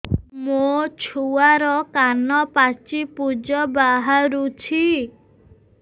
ମୋ ଛୁଆର କାନ ପାଚି ପୁଜ ବାହାରୁଛି